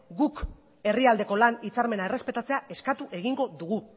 guk herrialdeko lan hitzarmena errespetatzea eskatu egingo dugu